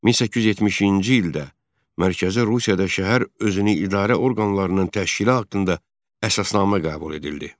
1870-ci ildə mərkəzi Rusiyada şəhər özünü idarə orqanlarının təşkili haqqında əsasnamə qəbul edildi.